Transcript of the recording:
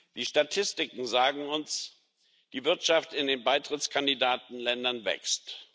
Die Statistiken sagen uns Die Wirtschaft in den Kandidatenländern wächst.